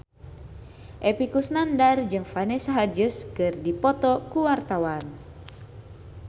Epy Kusnandar jeung Vanessa Hudgens keur dipoto ku wartawan